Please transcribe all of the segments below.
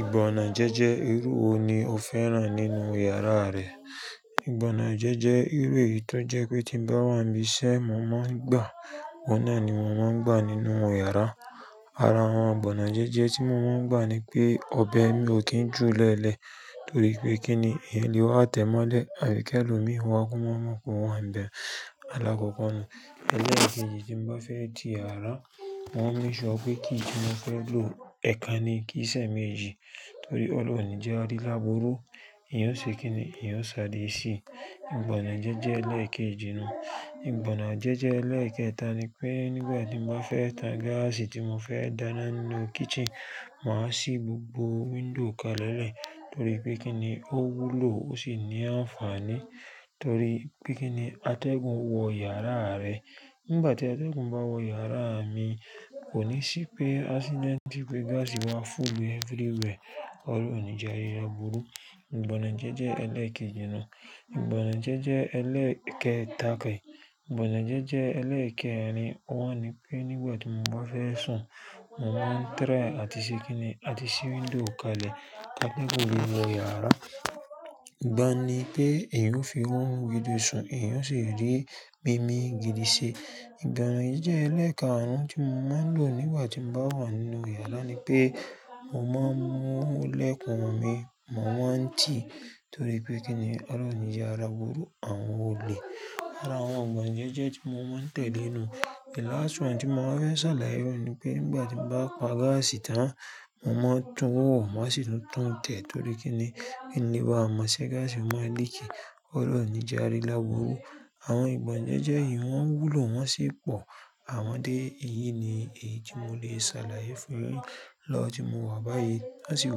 Ìbọnàjẹ́jẹ́ irú wo ni o fẹ́ràn nínú yàrá rẹ? Ìbọnàjẹ́jẹ́ irú èyí tó jẹ́ pé tí bá wà níbi iṣẹ́, mo máa ń gbà, òun náà ni mo máa ń gbà nínú yàrá. Ara àwọn ìbọnàjẹ́jẹ́ tí mo máa ń gbà ni pé ọ̀bẹ mi ò kí ń jù lẹ́lẹ̀ torí pé kí ni èèyàn lè wá tẹ́ mọ́lẹ̀, àbí kí elomií wá kó máa mọ pé o wa n bẹ. Alákọ̀ko nun, ẹlẹ́ẹ̀kejì tí n bá fẹ́ ti iyàrá, mo ma n make sure pé key tí mo pẹ́ lò ẹ̀ekan ni kí ì ṣe méjì torí ọlọ́run ní jẹ́ á rí lábùurú. Èèyàn ò ṣe kí ni èèyàn ṣàré sí ìbọnàjẹ́jẹ́ ẹlẹ́ẹ̀kejì nun. Ìbọnàjẹ́jẹ́ ẹlẹ́ẹ̀kẹta ni pé nígbà tí mo bá fẹ́ tan gáàsì tí mo fẹ́ dáná nínú kitchen, màá ṣí gbogbo window kalẹ̀lẹ̀ torí pé kí ni ó wúlò ó sì ní àǹfààní torí pé kí ni atẹ́gùn wọ yàrá rẹ. Nígbà tí atẹ́gùn bá wọ yàrá mi, kò ní ṣí pé accident pé gáàsì wá full everywhere, ọlọ́run ò ní jẹ́ a rí lábùurú. Ìbọnàjẹ́jẹ́ ẹlẹ́ẹ̀kejì náà. Ìbọnàjẹ́jẹ́ ẹlẹ́ẹ̀kẹta, ìbọnàjẹ́jẹ́ ẹlẹ́ẹ̀kẹrin, óun ni pé nígbà tí mo bá fẹ́ sùn, mo máa ń try àti ṣe kíni àti ṣí window kalẹ̀ kí atẹ́gùn lè wọ iyàrá. Ìgbà un ní pé èyàn ó fi rọrùn gidi sùn, èyàn ó sì rí mímí gidi ṣe. Ìbọnàjẹ́jẹ́ ẹlẹ́ẹ̀kàrún tí mo máa ń lò nígbà tí mo bá wà nínú yàrá ni pé mo máa ń mú ilẹ̀kùn mí, mo máa ń tì torí pé kí ni ọlọ́run ò ní jẹ́ a rí lábùurú àwọn olè. Ara àwọn ìbọnàjẹ́jẹ́ tí mo máa ń tẹ̀le nun. The last one tí mo máa fẹ́ ṣàlàyé óhun ní pé nígbà tí mo bá pa gáàsì tán, mo máa tún wò, màá sì tún tun tẹ̀ torí kí ni kín le bá mọ̀ sé gáàsì máa leak, ọlọ́run ò ní jẹ́ a rí lábùurú. Àwọn ìbọnàjẹ́jẹ́ yìí wọ́n wúlò wọ́n sì pọ̀ àwọn dé. Èyí ni èyí tí mo lè ṣàlàyé fún yin lọ́wọ́ tí mo wà báyìí. Wọ́ sì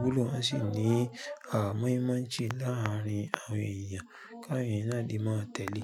wúlò wọ́n sì ní bí wọn ṣe maa nṣe láàárín àwọn èèyàn. Káwọn èèyàn náà le máa tẹ̀lé.